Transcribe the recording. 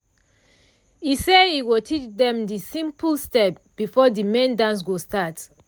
e say e go teach dem de simple step before the main dance go start.